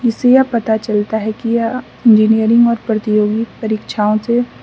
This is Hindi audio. इसिया पता चलता है कि यह इंजीनियरिंग और प्रतियोगिक परीक्षाओं से --